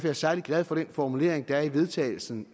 jeg særlig glad for den formulering der er i vedtagels